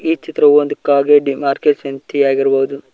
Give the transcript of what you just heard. ಈ ಚಿತ್ರವು ಒಂದು ಮಾರ್ಕೆಟ್ ಸಂತಿಯಾಗಿರಬಹುದು.